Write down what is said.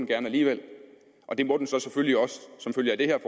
gerne alligevel og det må den så selvfølgelig også som følge af det her